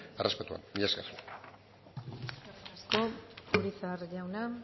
errespetuan mila esker eskerrik asko urizar jauna